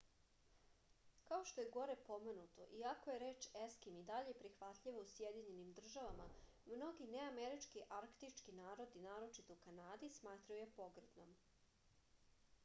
kao što je gore pomenuto iako je reč eskim i dalje prihvatljiva u sjedinjenim državama mnogi neamerički arktički narodi naročito u kanadi smatraju je pogrdnom